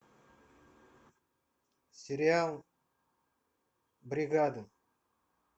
сериал бригада